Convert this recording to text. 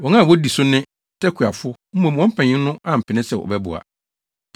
Wɔn a wodi so ne Tekoafo, mmom wɔn mpanyimfo no ampene sɛ wɔbɛboa.